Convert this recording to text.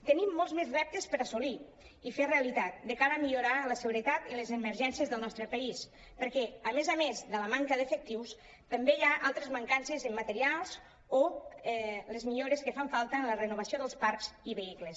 tenim molts més reptes per assolir i fer realitat de cara a millorar en la segu·retat i en les emergències del nostre país perquè a més a més de la manca d’efec·tius també hi ha altres mancances en materials o les millores que fan falta en la renovació dels parcs i vehicles